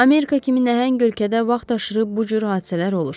Amerika kimi nəhəng ölkədə vaxtaşırı bu cür hadisələr olur.